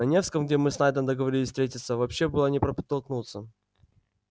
на невском где мы с найдом договорились встретиться вообще было не протолкнуться